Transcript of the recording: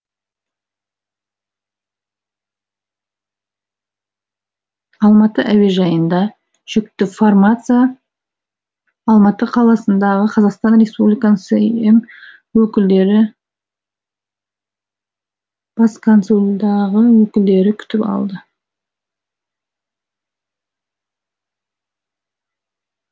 алматы әуежайында жүкті фармация алматы қаласындағы қазақстан республика сім өкілдері бас консулдағы өкілдері күтіп алды